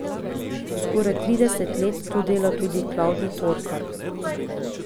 Skoraj trideset let tu dela tudi Klavdij Torkar.